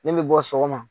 Ne bɛ bɔ sɔgɔma